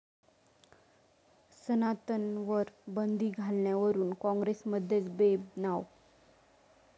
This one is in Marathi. सनातनवर बंदी घालण्यावरून काँग्रेसमध्येच बेबनाव